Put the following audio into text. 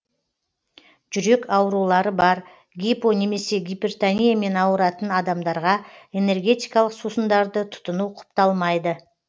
жүрек аурулары бар гипо немесе гипертониямен ауыратын адамдарға энергетикалық сусындарды тұтыну құпталмайды